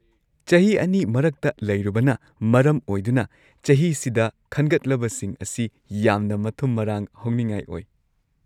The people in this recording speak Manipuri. ꯆꯍꯤ ꯲ ꯃꯔꯛꯇ ꯂꯩꯔꯨꯕꯅ ꯃꯔꯝ ꯑꯣꯏꯗꯨꯅ ꯆꯍꯤꯁꯤꯗ ꯈꯟꯒꯠꯂꯕꯁꯤꯡ ꯑꯁꯤ ꯌꯥꯝꯅ ꯃꯊꯨꯝ-ꯃꯔꯥꯡ ꯍꯧꯅꯤꯡꯉꯥꯏ ꯑꯣꯏ꯫